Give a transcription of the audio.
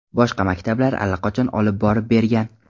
Boshqa maktablar allaqachon olib borib bergan.